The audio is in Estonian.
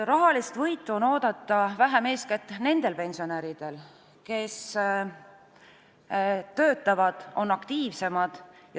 Rahalist võitu on vähem oodata eeskätt nendel pensionäridel, kes töötavad ja on aktiivsemad.